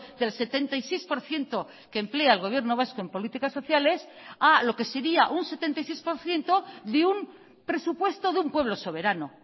del setenta y seis por ciento que emplea el gobierno vasco en políticas sociales a lo que sería un setenta y seis por ciento de un presupuesto de un pueblo soberano